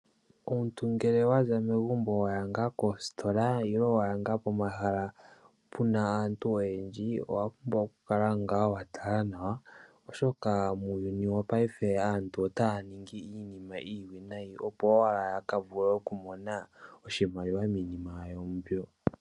Omuntu ngele waza megumbo waya kositola nenge waya pomahala puna aantu oyendji oho pumbwa oku kala wa tala nawa oshoka muuyuni wopayife aantu otaya ningi iinima iiwinayi opo owala yaka vule oku mona oshimaliwa miinima yawo mbyo.